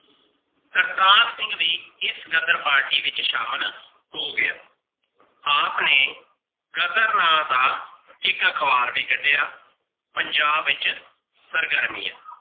ਕਰਤਾਰ ਸਿੰਘ ਵੀ ਇਸ ਗ਼ਦਰ party ਵਿੱਚ ਸ਼ਾਮਿਲ ਹੋ ਗਿਆ। ਆਪ ਨੇ ਗ਼ਦਰ ਨਾ ਦਾ ਇਕ ਅਖਵਾਰ ਵੀ ਕੱਢਿਆ ਪੰਜਾਬ ਵਿਚ ਸਰਗਰਮੀਆਂ।